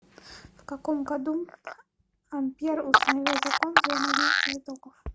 в каком году ампер установил закон взаимодействия токов